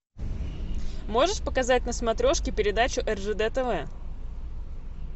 можешь показать на смотрешке передачу ржд тв